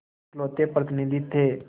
इकलौते प्रतिनिधि थे